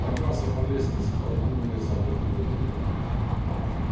поднялся по лестнице толкнул незапертую дверь